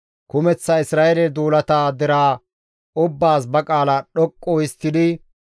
Kumeththa Isra7eele duulata deraa ubbaas ba qaala dhoqqu histtidi,